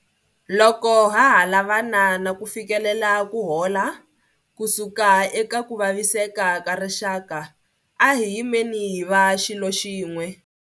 Loko ha ha lavana na ku fikelela ku hola ku suka eka ku vaviseka ka rixaka, a hi yimeni hi va xilo xin'we.